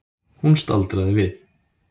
Hún staldraði við.